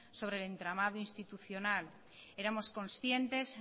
sobre el entramado institucional éramos conscientes